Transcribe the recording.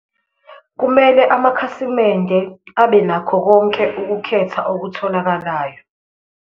Kumele amakhasimende abenakho konke ukukhetha okutholakalayo.